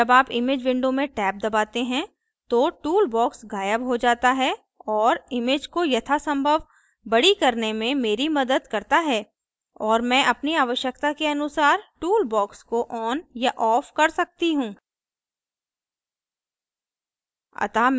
जब आप image window में टैब दबाते हैं तो tool box गायब हो जाता है और image को यथासंभव बड़ी करने में मेरी मदद करता है और मैं अपनी आवश्यकता के अनुसार tool box को on या off कर सकती हूँ